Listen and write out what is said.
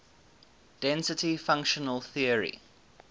density functional theory